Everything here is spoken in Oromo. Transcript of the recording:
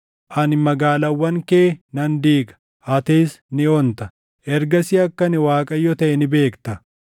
Ani magaalaawwan kee nan diiga; atis ni onta. Ergasii akka ani Waaqayyo taʼe ni beekta.